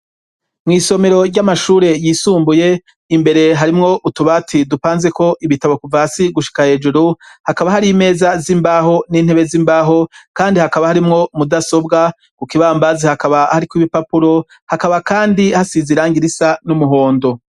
Mwisomero ry'amashure yisumbuye imbere harimwo utubati dupanzeko ibitabo kuva hasi gushika hejuru hakaba hari imeza z'imbaho n'intebe z'imbaho kandi hakaba harimwo mudasobwa ku kibambazi hakaba hariko ibipapuro hakaba kandi hasize irangi risa n'umuhondo.